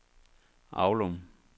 Aulum